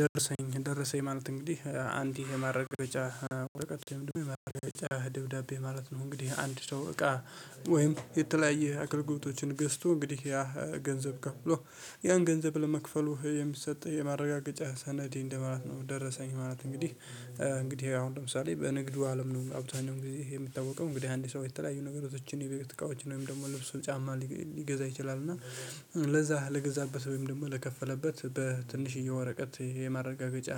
ደርሰኝ ደረሰኝ ማለት እንግዲህ አንዲ የማረጋገጫ ወረቀት ወይም ደግሞ የማረጋገጫ ደብዳቤ ማለት ነው። እንግዲህ አንድ ሰው እቃ ወይም የተለያየ አገልግሎቶችን ገዝቶ እንግዲህ ያ ገንዘብ ከፍሎ ያን ገንዘብ ለመክፈሉ የሚሰጥ የማረጋገጫ ሰነዴ እንደማለት ነው። የደረሰኝ ማለት እንግዲህ እንግዲህ አሁን ለምሳሌ በንግዱ አለም ነው አብዛኛው ጊዜ ይሄ የሚታወቀው እንግዲህ አንድ ሰው የተለያዩ ነገራቶችን የቤት እቃዎችን ወይም ደግሞ ልብሱን ጫማ ሊገዛ ይችላል። እና ለዛ ለገዛበት ወይም ደግሞ ለከፈለበት በትንሽዬ ወረቀት የማረጋገጫ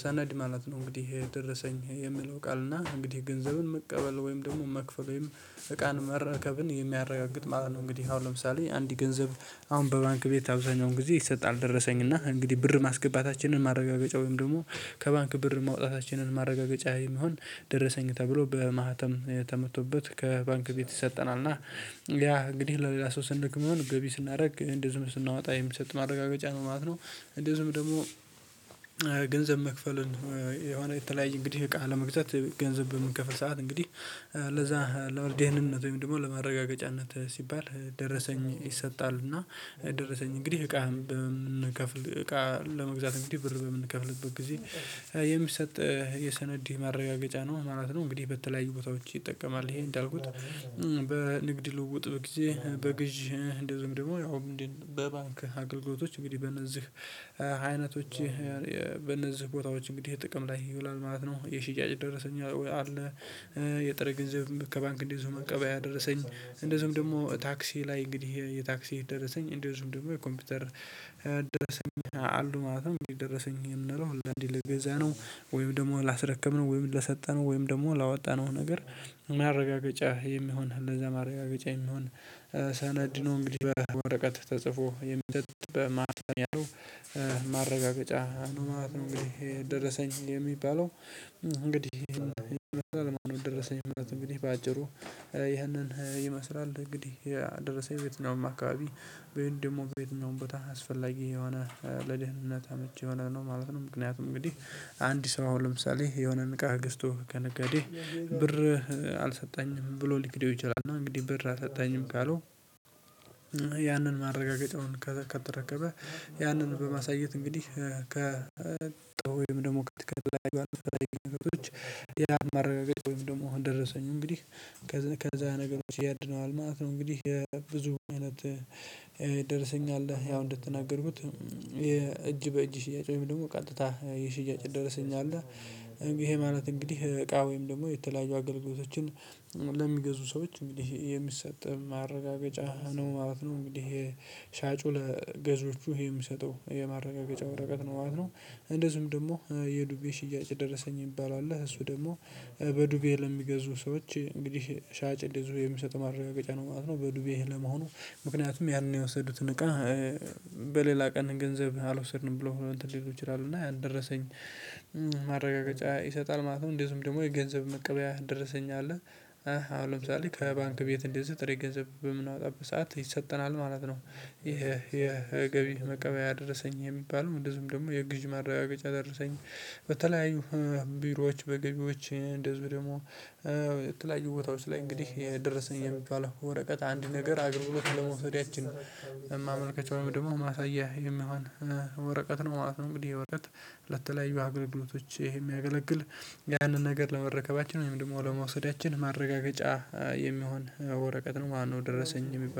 ሰነድ ማለት ነው። እንግዲህ ይሄ ደረሰኝ የሚለው ቃል እና እንግዲህ ገንዘብን መቀበል ወይም ደግሞ መክፈል ወይም እቃን መረከብን የሚያረጋግጥ ማለት ነው። እንግዲህ አሁን ለምሳሌ አንድ ገንዘብ አሁን በባንክ ቤት አብዛኛውን ጊዜ ይሰጣል ደረሰኝ እና እንግዲህ ብር ማስገባታችንን ማረጋገጫ ወይም ደግሞ ከባንክ ብር መውጣታችንን ማረጋገጫ የሚሆን ደረሰኝ ተብሎ በማህተም ተመቶበት ከባንክ ቤት ይሰጠናል እና ያ እንግዲህ ለሌላ ሰው ስግ ሚሆን ገቢ ስናደርግ እንደዚህም ስናወጣ የምንሰጥ ማረጋገጫ ነው ማለት ነው። እንደዚህም ደግሞ ገንዘብ መክፈልን የሆነ የተለያየ እንግዲህ እቃ ለመግዛት ገንዘብ በምንከፈል ሰዓት እንግዲህ ለዛ ለመር ዴህንነት ወይም ደግሞ ለማረጋገጫነት ሲባል ደረሰኝ ይሰጣል። እና ደረሰኝ እንግዲህ እቃ በምንከፍል እቃ ለመግዛት እንግዲህ ብር በምንከፍልበት ጊዜ የሚሰጥ የሰነዲ ማረጋገጫ ነው ማለት ነው። እንግዲህ በተለያዩ ቦታዎች ይጠቀማል ይሄ እንዳልኩት በንግድ ልውጥ በጊዜ በግዢ እንደዚሁም ደግሞ ያው እንዴት በባንክ አገልግሎቶች እንግዲህ በእነዚህ አይነቶች በእነዚህ ቦታዎች እንግዲህ ጥቅም ላይ ይውላል ማለት ነው። የሽያጭ ደረሰኝ አለ የጥሬ ገንዘብም ከባንክ እንደዚሁ መቀበያ ደረሰኝ እንደዚሁም ደግሞ ታክሲ ላይ እንግዲህ የታክሲ ደረሰኝ እንደዚሁም ደግሞ ኮምፒውተር አሉ ማለት ነው። እንግዲህ ደረሰኝ የምንለው አንዳንዴ ለገዛነው ወይም ደግሞ ላስረከብነው ወይም ለሰጠነው ወይም ደግሞ ላወጣነው ነገር ማረጋገጫ የሚሆን ለዛ ማረጋገጫ የሚሆን ሳነድ ነው እንግዲህ በወረቀት ተጽፎ የሚሰጥ በማህፀን ያለው ነው። ማለት እንግዲህ ደረሰኝ የሚባለው እንግዲህ ይሄንን ይመስላል ማለት ነው። ደረሰኝ ማለት እንግዲህ በአጭሩ ይሄንን ይመስላል እንግዲህ የደረሰኝ ቤትኛውም አካባቢ ወይን ደግሞ በየትኛውም ቦታ አስፈላጊ የሆነ ለድህነት አመቺ የሆነ ነው ማለት ነው። ምክንያቱም እንግዲህ አንድ ሰው አሁን ለምሳሌ የሆነን ቅቃ ገዝቶ ከነጋዴ ብር አልሰጠህኝም ብሎ ሊክደው ይችላል እና እንግዲህ ብር አሰጠህኝም ካለው ያንን ማረጋገጫውን ከተረከበ ያንን በማሳየት እንግዲህ ካጣ ወይም ደግሞ ከተለያዩ የግል ንብረቶች ሌላ ማረጋገጥ ወይም ደግሞ ደረሰኝ እንግዲህ ከዛ ነገሮች ያድነዋል ማለት ነው። እንግዲህ ብዙ አይነት ደርሰኝ አለ ያው እንደተናገርኩት የእጅ በእጅ ሽያጭ ወይም ደግሞ ቀጥታ የሽያጭ ደረሰኝ አለ። እንግዲ ይሄ ማለት እንግዲህ እቃ ወይም ደግሞ የተለያዩ አገልግሎቶችን ለሚገዙ ሰዎች እንግዲህ የሚሰጥ ማረጋገጫ ነው ማለት ነው። እንግዲህ ይሄ ሻጩ ለገዢዎቹ ይሄ የሚሰጠው የማረጋገጫ ወረቀት ነው ማለት ነው። እንደዚሁም ደግሞ የዱቤ ሽያጭ ደረሰኝ የሚባለው አለ እሱ ደግሞ በዱቤ ለሚገዙ ሰዎች እንግዲህ ሻጭ እንደዚሁ የሚሰጠው ማረጋገጫ ነው ማለት ነው። በዱቤ ለመሆኑ ምክንያቱም ያንን የወሰዱትን እቃ በሌላ ቀን ገንዘብ አልወሰድንም ብሎ እንትን ሊሉ ይችላሉ እና ያን ደረሰኝ ማረጋገጫ ይሰጣል ማለት ነው። እንደዚሁም ደግሞ የገንዘብ መቀበያ ደረሰኝ አለ። አሁን ለምሳሌ ከባንክ ቤት እንደዚህ ጥሬ ገንዘብ በምናወጣበት ሰዓት ይሰጠናል ማለት ነው። ይሄ ይሄ ገቢ መቀበያ ደረሰኝ የሚባል እንደዚሁም ደግሞ የግዢ ማራጋገጫ ደረሰኝ በተለያዩ ቢሮዎች በገቢዎች እንደዚሁ ደግሞ ቦታዎች ላይ እንግዲህ የደረሰኝ የሚባል ወረቀት አንድ ነገር አገልግሎት ለመውሰዳችን ማመልከቻ ወይም ደግሞ ማሳያ የሚሆን ወረቀት ነው ማለት ነው። እንግዲህ ይሄ ወረቀት ለተለያዩ አገልግሎቶች ይሄ የሚያገለግል ያንን ነገር ለመረከባችን ወይም ደግሞ ለመውሰዳችን ማረጋገጫ የሚሆን ወረቀት ነው ማለት ነው። ደረሰኝ የሚባለው